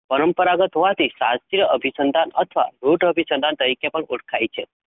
પરંપરાગત હોવાથી શાસ્ત્રીય અભિસંધાન અથવા રૂઢ અભિસંધાન તરીકે પણ ઓળખાય છે.